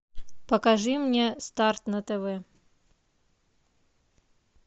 покажи мне старт на тв